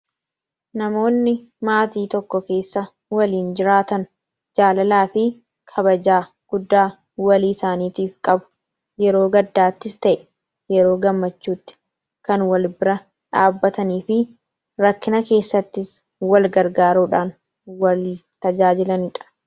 namoonni maatii tokko keessa waliin jiraatan jaalalaa fi kabajaa guddaa walii isaaniitiif qabu. yeroo gaddaattis ta'e yeroo gammachuutti kan wal bira dhaabatanii fi rakkina keessattis wal gargaarudhaan wal tajaajilaniidha.